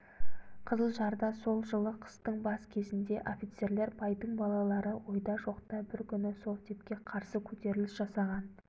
қызылжарда сол жылы қыстың бас кезінде офицерлер байдың балалары ойда-жоқта бір күні совдепке қарсы көтеріліс жасаған